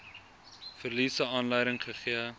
verliese aanleiding gegee